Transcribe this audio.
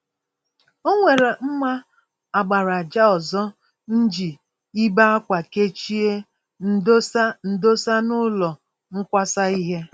Onwere mma àkpàràjà ọzọ mji ibe-ákwà kechie m dosa m dosa n'ụlọ nkwasa ìhè